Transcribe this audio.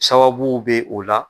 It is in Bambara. Sababuw be o la